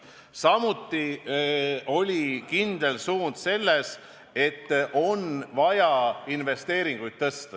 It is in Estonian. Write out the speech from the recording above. Samuti oli kindel suund selline: on vaja investeeringuid tõsta.